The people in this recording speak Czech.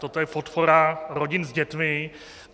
Toto je podpora rodin s dětmi.